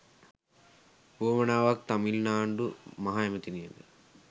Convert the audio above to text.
වුවමනාවක් තමිල්නාඩු මහ ඇමතිනියට